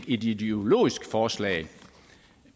ideologisk forslag